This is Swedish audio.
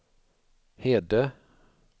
Hede